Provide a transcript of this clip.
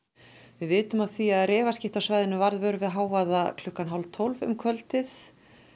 við vitum af því að refaskytta á svæðinu varð vör við hávaða klukkan hálf tólf um kvöldið